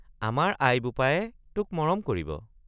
আমাৰ আই বোপায়ে তোক মৰম কৰিব।